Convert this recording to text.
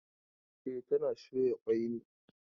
E, tana soya kwai ne.